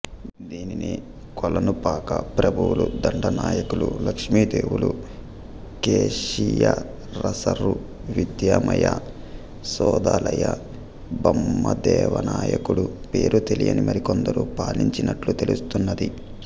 దీనిని కొలనుపాక ప్రభువుల దండనాయకులు లక్ష్మీదేవులు కేశియరసరు విద్ధమయ్య శోద్దాలయ్య బమ్మదేవనాయకుడు పేరుతెలియని మరికొందరు పాలించినట్లు తెలుస్తున్నది